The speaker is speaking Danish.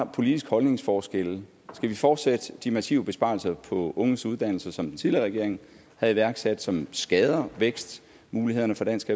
politiske holdningsforskelle skal vi fortsætte de massive besparelser på unges uddannelser som den tidligere regering havde iværksat som skader vækstmulighederne for dansk